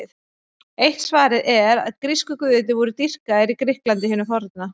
Eitt svarið er að grísku guðirnir voru dýrkaðir í Grikklandi hinu forna.